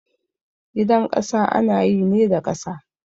Gidan ƙasa ana yi ne da ƙasa